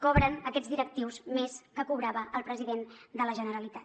cobren aquests directius més del que cobrava el president de la generalitat